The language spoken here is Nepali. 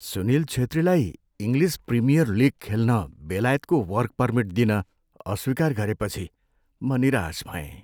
सुनिल छेत्रीलाई इङ्लिस प्रिमियर लिग खेल्न बेलायतको वर्क परमिट दिन अस्वीकार गरेपछि म निराश भएँ ।